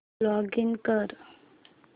login कर